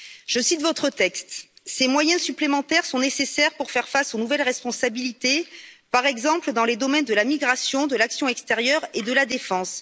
Je cite votre texte ces moyens supplémentaires sont nécessaires pour faire face aux nouvelles responsabilités, par exemple, dans les domaines de la migration, de l'action extérieure et de la défense.